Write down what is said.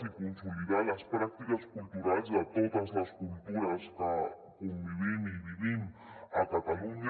i consolidar les pràctiques culturals de totes les cultures que convivim i vivim a catalunya